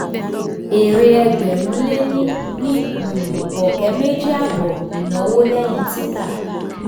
èrè ẹgbẹ́rún lé ní ní um ọ̀kẹ́ mèjì àbọ̀ ìnáwó lẹ́yìn tita.